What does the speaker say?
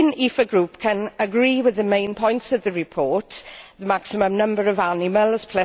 The Green EFA Group can agree with the main points of the report the maximum number of animals